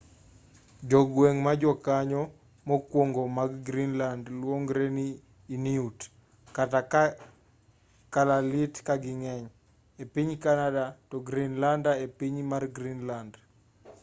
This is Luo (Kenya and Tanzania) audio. jogweng' ma jokanyo mokwongo mag greenland luongore ni 'inuit' kata kalaallit ka ging'eny e piny canada to 'greenlander' e piny mar greenland